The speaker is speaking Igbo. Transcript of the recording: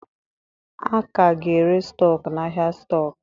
A ka ga-ere stọkụ n'ahịa stọkụ.